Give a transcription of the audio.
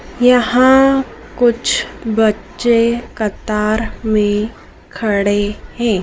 यहां कुछ बच्चे कतार में खड़े हैं।